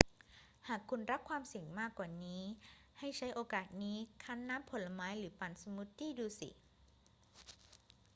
หากคุณรักความเสี่ยงมากกว่านี้ ให้ใช้โอกาสนี้คั้นน้ำผลไม้หรือปั่นสมูทตี้ดูสิ